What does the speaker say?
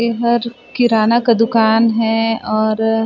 एहर किराना का दुकान है और --